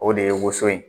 O de ye woson ye